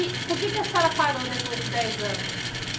E por que é que a senhora parou depois de dez anos?